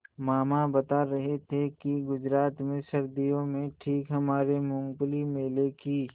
मामा बता रहे थे कि गुजरात में सर्दियों में ठीक हमारे मूँगफली मेले की